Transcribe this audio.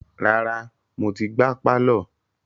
Rárá, mo ti gbá pálọ̀.